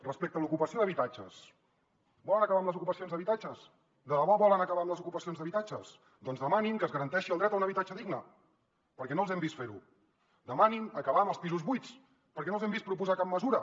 respecte a l’ocupació d’habitatges volen acabar amb les ocupacions d’habitatges de debò volen acabar amb les ocupacions d’habitatges doncs demanin que es garanteixi el dret a un habitatge digne perquè no els hem vist fer ho demanin acabar amb els pisos buits perquè no els hem vist proposar cap mesura